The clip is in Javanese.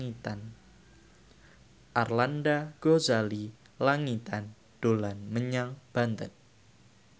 Arlanda Ghazali Langitan dolan menyang Banten